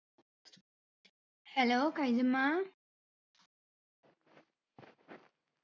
hello കൈജുമ്മാ